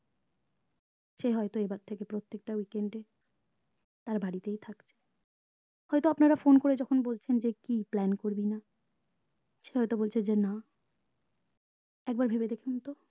সে হয়তো এবার থেকে প্রত্যেকটা week end এ তার বাড়িতেই থাকছে হয়তো যখন আপনারা phone করে বলছেন যে কি plan করবিনা সে হয়তো বলছে যে না একবার ভেবে দেখেন তো